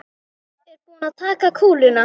Er búið að taka kúluna?